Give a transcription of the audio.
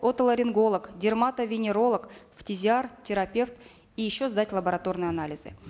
отоларинголог дерматовенеролог терапевт и еще сдать лабораторные анализы